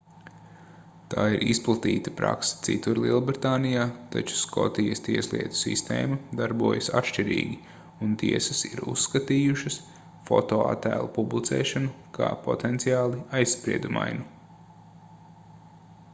tā ir izplatīta prakse citur lielbritānijā taču skotijas tieslietu sistēma darbojas atšķirīgi un tiesas ir uzskatījušas fotoattēlu publicēšanu kā potenciāli aizspriedumainu